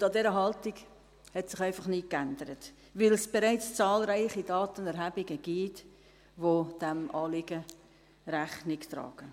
Und an dieser Haltung hat sich einfach nichts geändert, weil es bereits zahlreiche Datenerhebungen gibt, die diesem Anliegen Rechnung tragen.